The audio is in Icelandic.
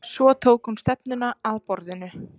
Svo tók hún stefnuna að borðinu.